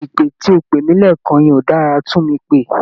Ìpè tó o pè mí lẹ́ẹ̀kan yẹn ó dára, tún mi pè